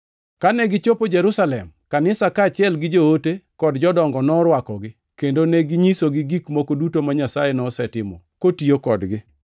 Kane gichopo Jerusalem, kanisa kaachiel gi joote kod jodongo norwakogi, kendo neginyisogi gik moko duto ma Nyasaye nosetimo, kotiyo kodgi.